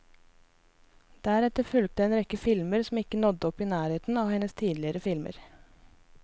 Deretter fulgte en rekke filmer som ikke nådde opp i nærheten av hennes tidligere filmer.